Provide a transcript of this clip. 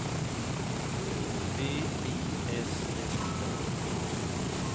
V I S S A